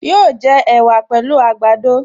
Yóò jẹ ẹ̀wà pẹ̀lú àgbàdo